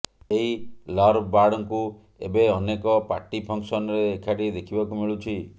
ଏହି ଲର୍ଭ ବାର୍ଡଙ୍କୁ ଏବେ ଅନେକ ପାର୍ଟିଫଙ୍କସନ୍ରେ ଏକାଠି ଦେଖିବାକୁ ମିଳୁଛି